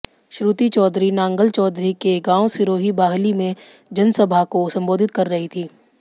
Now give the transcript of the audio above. श्रुति चौधरी नांगल चौधरी के गांव सिरोही बाहली में जनसभा को संबोधित कर रही थी